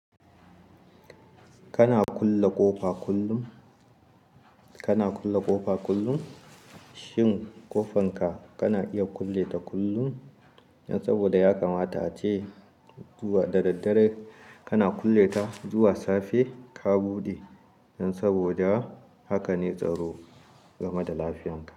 Kana kulle ƙofa kullum? Kana kulle ƙofa kullum? Shin ƙofanka kana iya kulle ta kullum? Yan saboda ya kamata ace zuwa da daddare kana kulle ta zuwa safe ka buɗe. Yan saboda haka ne tsaro game da lafiyanka.